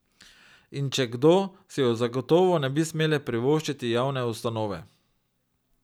In če kdo, si ju zagotovo ne bi smele privoščiti javne ustanove.